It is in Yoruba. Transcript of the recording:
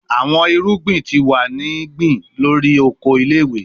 Awọn irugbin ti wa ni gbin lori oko ile-iwe